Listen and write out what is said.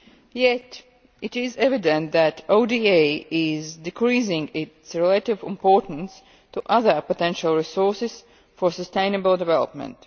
Yet it is evident that ODA is decreasing in relative importance to other potential resources for sustainable development.